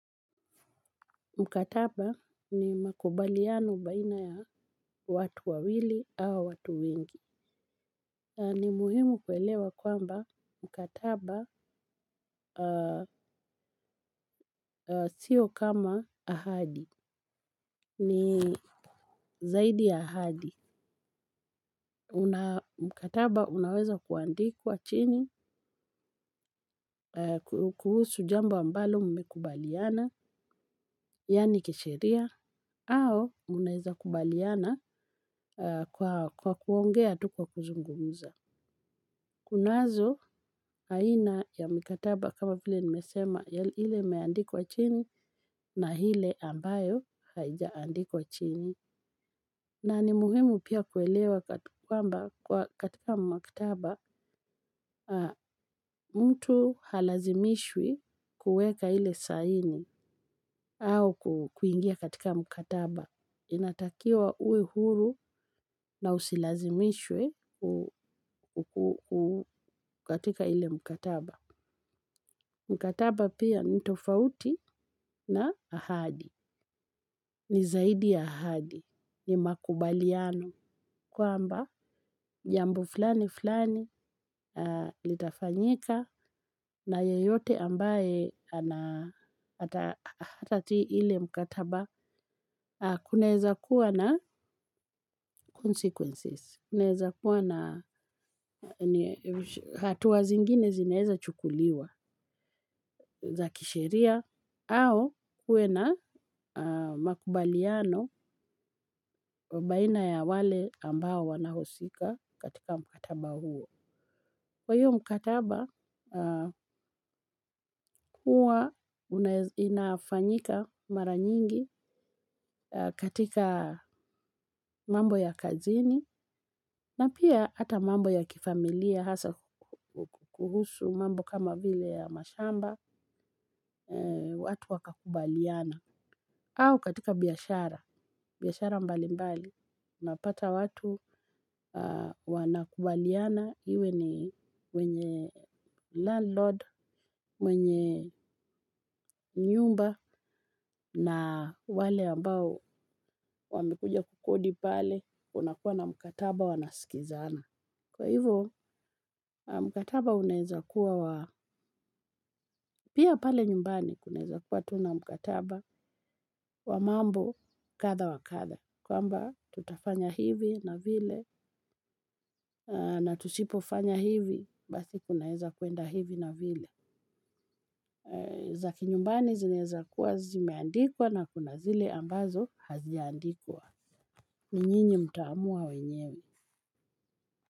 Mkataba ni makubaliano baina ya watu wawili au watu wengi. Ni muhimu kuelewa kwamba mkataba sio kama ahadi. Ni zaidi ya ahadi. Mkataba unaweza kuandikuwa chini, kuhusu jambo ambalo mme kubaliana, yani kisheria, au unaweza kubaliana kwa kuongea tu kwa kuzungumuza. Kunazo haina ya mkataba kama vile nimesema hile imeandikwa chini na hile ambayo haijaandikwa chini. Na ni muhimu pia kuelewa kwamba katika mkataba mtu halazimishwi kueka hile saini au kuingia katika mkataba. Inatakiwa uwe huru na usilazimishwe kukatika hile mkataba. Mkataba pia nitofauti na ahadi. Ni zaidi ya ahadi. Ni makubaliano kuamba jambo fulani fulani litafanyika na yeyote ambaye hatati ile mkataba kuneza kuwa na consequences. Ineza kuwa na hatuwa zingine zineza chukuliwa za kisheria au kuena makubaliano baina ya wale ambao wanahosika katika mkataba huo. Kwa hiyo mkataba kuwa unafanyika mara nyingi katika mambo ya kazini na pia hata mambo ya kifamilia hasa kuhusu mambo kama vile ya mashamba watu waka kubaliana. Au katika biyashara, biyashara mbali mbali, napata watu wanakubaliana hiwe ni wenye landlord, mwenye nyumba na wale ambao wamekuja kukodi pale unakuwa na mkataba wanasikizana. Kwa hivyo mkataba unaeza kuwa wa, pia pale nyumbani kunaeza kuwa tuna mkataba wa mambo katha wa katha. Kwa mba tutafanya hivi na vile na tusipofanya hivi basi kunaeza kuenda hivi na vile. Zaki nyumbani zineza kuwa zimeandikwa na kuna zile ambazo haziaandikwa. Ninyinyi mtaamua wenyewe.